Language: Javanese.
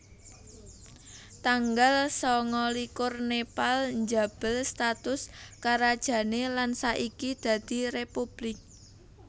Tanggal sangalikur Nepal njabel status karajané lan saiki dadi républik